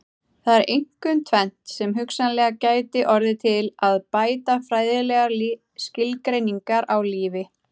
Það er einkum tvennt sem hugsanlega gæti orðið til að bæta fræðilegar skilgreiningar á lífi.